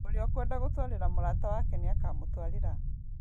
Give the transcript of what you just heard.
ũrĩa ukwenda gũtwarĩra mũrata wake nĩakamũtwarĩra.